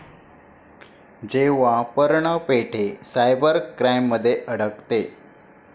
जेव्हा पर्ण पेठे सायबर क्राइममध्ये अडकते...